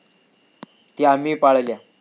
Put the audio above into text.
त्या आम्ही पाळल्या.